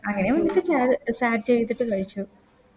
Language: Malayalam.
അങ്ങനെ Share ചെയ്ത Share ചെയ്തിട്ട് കഴിച്ചു